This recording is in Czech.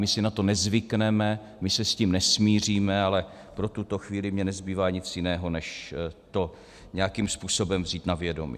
My si na to nezvykneme, my se s tím nesmíříme, ale pro tuto chvíli mi nezbývá nic jiného, než to nějakým způsobem vzít na vědomí.